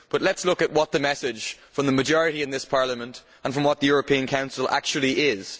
But let us look at what the message from the majority in this Parliament and from the European Council actually is.